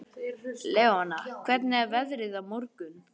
Leona, hvernig er veðrið á morgun?